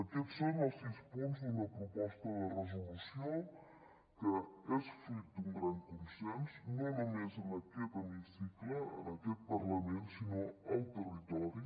aquests són els sis punts d’una proposta de resolució que és fruit d’un gran consens no només en aquest hemicicle en aquest parlament sinó al territori